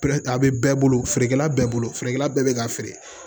a bɛ bɛɛ bolo feerekɛla bɛɛ bolo feerekɛla bɛɛ bɛ k'a feere